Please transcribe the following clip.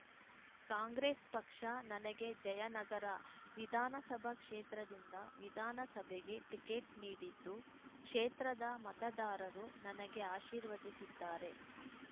ಕಾಂಗ್ರೆಸ್‌ ಪಕ್ಷ ನನಗೆ ಜಯನಗರ ವಿಧಾನಸಭಾ ಕ್ಷೇತ್ರದಿಂದ ವಿಧಾನಸಭೆಗೆ ಟಿಕೆಟ್‌ ನೀಡಿದ್ದು ಕ್ಷೇತ್ರದ ಮತದಾರರು ನನಗೆ ಆಶೀರ್ವದಿಸಿದ್ದಾರೆ